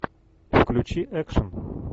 включи экшен